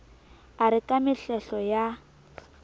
a re ke mehlehlo ya